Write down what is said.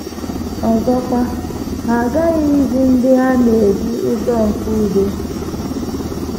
Ọzọkwa, ha aghaghị izi ndị ha na - edu ụzọ nke udo.